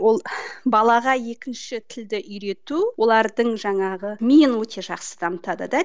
ол балаға екінші тілді үйрету олардың жаңағы миын өте жақсы дамытады да